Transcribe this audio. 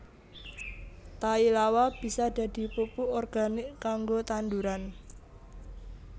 Tai lawa bisa dadi pupuk organik kanggo tanduran